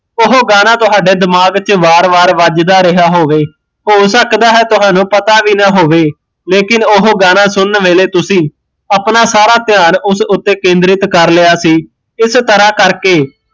ਉਹ ਗਾਣਾ ਤੁਹਾਡੇ ਦਿਮਾਗ ਵਿੱਚ ਵਾਰ ਵਾਰ ਵੱਜਦਾ ਰਿਹਾ ਹੋਵੇ ਹੋ ਸਕਦਾ ਹੈ ਤੁਹਾਨੂ ਪਤਾ ਵੀ ਨਾ ਹੋਵੇ ਲੇਕਿਨ ਓਹ ਗਾਣਾ ਸੁਣਨ ਵੇਲੇ ਤੁਸੀਂ ਆਪਣਾ ਸਾਰਾ ਧਿਆਨ ਉਸ ਉੱਤੇ ਕੇਂਦਰਿਤ ਕਰ ਲਿਆ ਸੀ ਇਸ ਤਰਾਂ ਕਰ ਕੇ